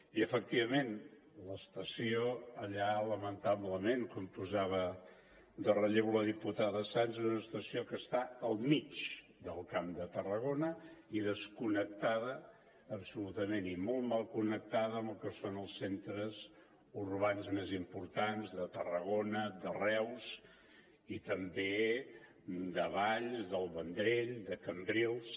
i efectivament l’estació allà lamentablement com posava de relleu la diputada sans és una estació que està al mig del camp de tarragona i desconnectada absolutament i molt mal connectada amb el que són els centres urbans més importants de tarragona de reus i també de valls del vendrell de cambrils